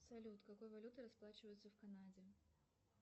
салют какой валютой расплачиваются в канаде